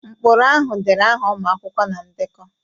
Ụkpụrụ ahụ dere aha ụmụ akwụkwọ na ndekọ